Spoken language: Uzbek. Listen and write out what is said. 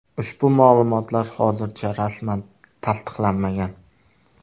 Ushbu ma’lumotlar hozircha rasman tasdiqlanmagan.